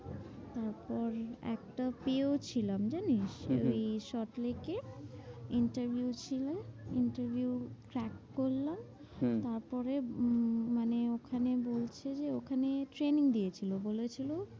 তারপর একটা পেয়েও ছিলাম জানিস? হম হম এই ছ তারিখে interview ছিল interview crack করলাম। হম তারপরে উম মানে ওখানে বলছে যে ওখানে training দিয়েছিলো। বলেছিলো